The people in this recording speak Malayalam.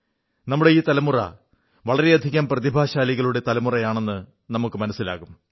നമ്മുടെ ഈ തലമുറ വളരെയധികം പ്രതിഭാശാലികളുടെ തലമുറയാണെന്ന് നമുക്ക് മനസ്സിലാകും